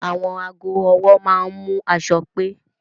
Àwọn aago ọwọ́ máa ń mú aṣọ pé